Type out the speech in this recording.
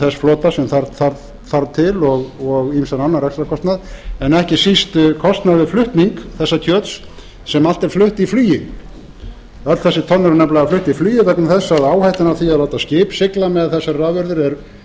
þess flota sem þarf til og ýmsan annan rekstrarkostnað en ekki síst kostnað við flutning þessa kjöts sem allt er flutt í flugi öll þessi tonn eru nefnilega flutt í flugi vegna þess að áhættan af því að láta skip sigla með þessar afurðir